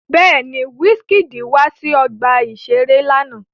Bẹ́ẹ̀ni, Wizkid wá sí ọgbà-ìṣeré lánàá